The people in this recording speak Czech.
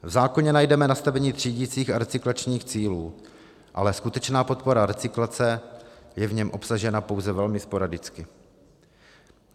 V zákoně najdeme nastavení třídicích a recyklačních cílů, ale skutečná podpora recyklace je v něm obsažena pouze velmi sporadicky.